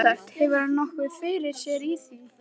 Sjálfsagt hefur hann haft nokkuð fyrir sér í því.